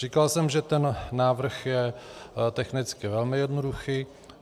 Říkal jsem, že ten návrh je technicky velmi jednoduchý.